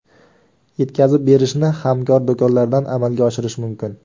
Yetkazib berishni hamkor do‘konlardan amalga oshirish mumkin.